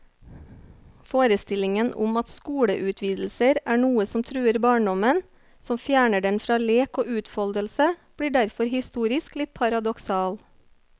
Forestillingen om at skoleutvidelser er noe som truer barndommen, som fjerner den fra lek og utfoldelse, blir derfor historisk litt paradoksal.